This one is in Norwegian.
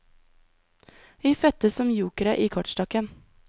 Vi fødtes som jokere i kortstokken.